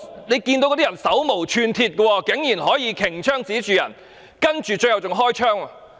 那些人手無寸鐵，警員竟然可以擎槍指向對方，最後更加開了槍。